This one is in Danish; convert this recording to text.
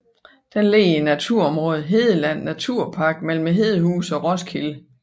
Den ligger i naturområdet Hedeland Naturpark mellem Hedehusene og Roskilde